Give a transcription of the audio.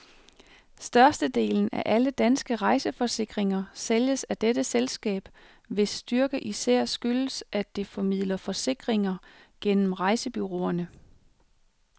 Størstedelen af alle danske rejseforsikringer sælges af dette selskab, hvis styrke især skyldes, at det formidler forsikringer gennem rejsebureauerne.